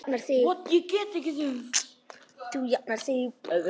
Þú jafnar þig.